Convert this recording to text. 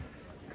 Nə var ki?